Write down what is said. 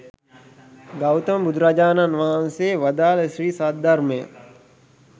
ගෞතම බුදුරජාණන් වහන්සේ වදාළ ශ්‍රී සද්ධර්මය